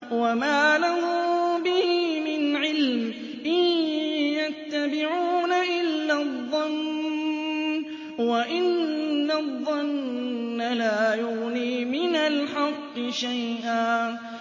وَمَا لَهُم بِهِ مِنْ عِلْمٍ ۖ إِن يَتَّبِعُونَ إِلَّا الظَّنَّ ۖ وَإِنَّ الظَّنَّ لَا يُغْنِي مِنَ الْحَقِّ شَيْئًا